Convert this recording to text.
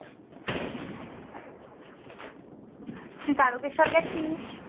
তুই তারোকেশর গেছিস?